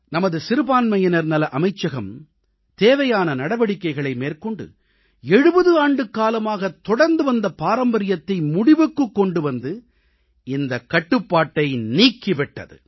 நமது சிறுபான்மையினர்நலஅமைச்சகம் தேவையான நடவடிக்கைகளை மேற்கொண்டு 70 ஆண்டுக்காலமாக தொடர்ந்துவந்த பாரம்பரியத்தை முடிவுக்குக் கொண்டு வந்து இந்தக் கட்டுப்பாட்டை நீக்கி விட்டது